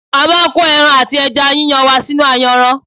A máà ń ko ẹran ati ẹja yíyan wa sínú ayanran.